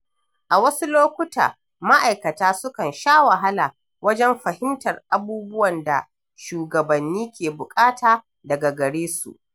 A wasu lokuta, ma’aikata sukan sha wahala wajen fahimtar abubuwan da shugabanni ke bukata daga gare su.